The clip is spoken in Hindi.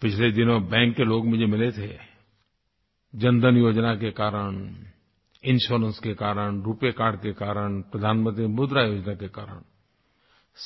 पिछले दिनों बैंक के लोग मुझे मिले थे जनधन योजना के कारण इंश्योरेंस के कारण रूपे कार्ड के कारण प्रधानमंत्री मुद्रा योजना के कारण